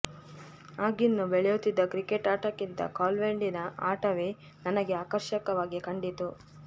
ಆಗಿನ್ನೂ ಬೆಳೆಯುತ್ತಿದ್ದ ಕ್ರಿಕೆಟ್ ಆಟಕ್ಕಿಂತ ಕಾಲ್ಚೆಂಡಿನ ಆಟವೇ ನನಗೆ ಆಕರ್ಷಕವಾಗಿ ಕಂಡಿತ್ತು